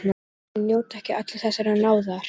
Því miður njóta ekki allir þessarar náðar.